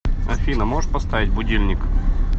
афина можешь поставить будильник